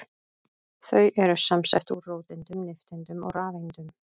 Þau eru samsett úr róteindum, nifteindum og rafeindum.